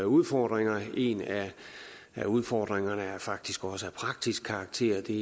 udfordringer en af udfordringerne er faktisk også af praktisk karakter det